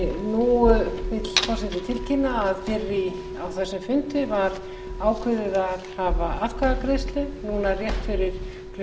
og eina sekúndu nú vill forseti tilkynna að fyrr á þessum fundi var ákveðið að hafa atkvæðagreiðslu núna rétt fyrir klukkan fjögur